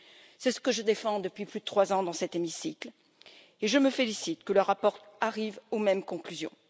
C'est ce que je défends depuis plus de trois ans dans cet hémicycle, et je me félicite que le rapport arrive aux mêmes conclusions.